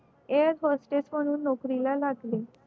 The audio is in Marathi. air hostess म्हणून नोकरी ला लागली